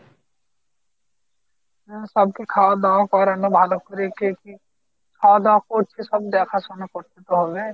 হ্যাঁ সবাই কে খাওয়া দাওয়া করানো ভালো করে কে কি খাওয়া দাওয়া করছে সব দেখাশোনা করতে তো হবে